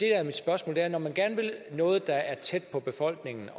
er mit spørgsmål handler man gerne vil noget der er tæt på befolkningen